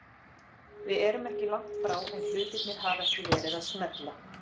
Við erum ekki langt frá en hlutirnir hafa ekki verið að smella.